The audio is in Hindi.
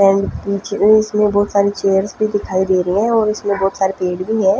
इसमें बहोत सारे चेयर्स भी दिखाई दे रहे हैं और इसमें बहोत सारे पेड़ भी हैं।